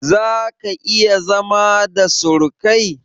Zaka/iya zama da surukai?